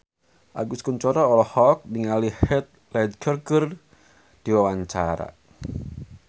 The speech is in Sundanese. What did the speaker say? Agus Kuncoro olohok ningali Heath Ledger keur diwawancara